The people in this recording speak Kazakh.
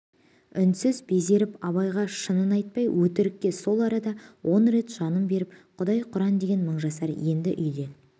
үнсіз безеріп абайға шынын айтпай өтірікке сол арада он рет жанын беріп құдай құран деген мыңжасар енді үйден